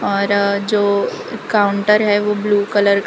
और जो काउंटर है वो ब्लू कलर का --